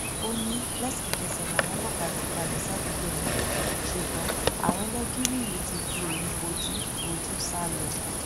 ó ní lẹsẹkẹsẹ làwọn ọlọpàá ti balẹ sádùúgbò náà ṣùgbọn àwọn ẹlẹgìrì yìí ti fi òru bojú bojú sá lọ